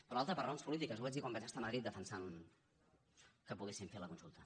però l’altra per raons polítiques ho vaig dir quan vaig estar a madrid defensant que poguéssim fer la consulta